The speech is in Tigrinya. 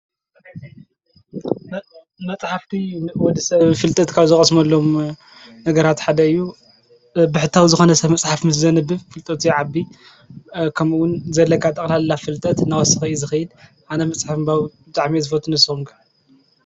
መፅሓፍቲ ወዲሰብ ፍልጠት ካብ ዝቐስሞሎም ነገራት ሓደ እዩ፡፡ ብሕታዊ ዝኾነ ሰብ መጽሓፍ ምስ ዘንብብ ፍልጠት የዓቢ ከምኡውን ዘለካ ጠቕላላ ፍልጠት ናወስኸ እዩ ዝኸይድ፡፡ ኣነ መጽሓፍ ብጣዕሚ ዝፈትው ንስኹም ከ?